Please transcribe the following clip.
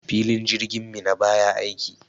Filin jirgin Minna baya aiki.